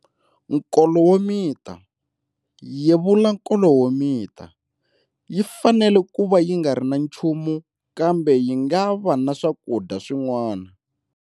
Nkolo wo mita-yevula nkolo wo mita, yi fanele ku va yi nga ri na nchumu kambe yi nga va na swakudya swin'wana.